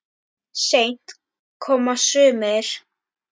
Seint koma sumir.